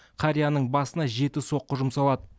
қарияның басына жеті соққы жұмсалады